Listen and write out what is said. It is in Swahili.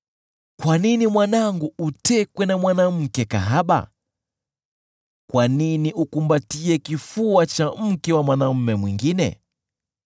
Kwa nini mwanangu, utekwe na mwanamke kahaba? Kwa nini ukumbatie kifua cha mke wa mwanaume mwingine?